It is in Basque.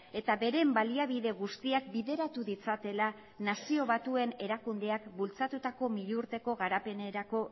eta beren baliabide guztiak bideratu ditzatela nazio batuen erakundeak bultzatutako milurteko garapenerako